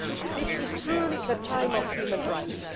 This is truly the time for human rights.